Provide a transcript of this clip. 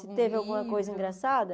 Se teve alguma coisa engraçada?